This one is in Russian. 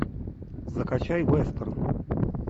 закачай вестерн